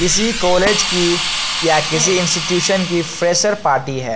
किसी कॉलेज की या किसी इंस्टीट्यूशन की फ्रेशर पार्टी है।